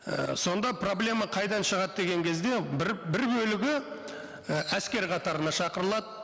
і сонда проблема қайдан шығады деген кезде бір бір бөлігі і әскер қатарына шақырылады